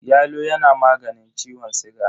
Yalo yana maganin ciwon siga.